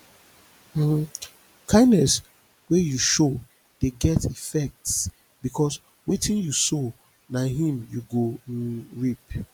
um kindness wey you show de get effects because wetin you sow na him you go um reap